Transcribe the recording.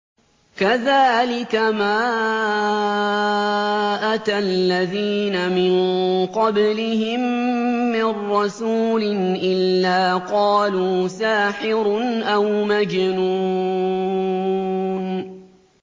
كَذَٰلِكَ مَا أَتَى الَّذِينَ مِن قَبْلِهِم مِّن رَّسُولٍ إِلَّا قَالُوا سَاحِرٌ أَوْ مَجْنُونٌ